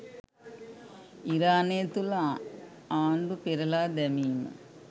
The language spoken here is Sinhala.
ඉරානය තුළ ආණ්ඩු පෙරළා දැමීම